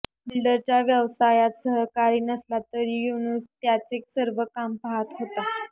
बिल्डरच्या व्यवसायात सहकारी नसला तरी युनूस त्याचे सर्व काम पाहत होता